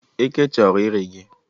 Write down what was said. Eke chọrọ iri gị?